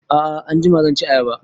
A'a anjima zan ci ayaba